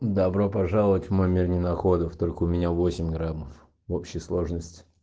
добро пожаловать в мой мир ненаходов только у меня восемь граммов в общей сложности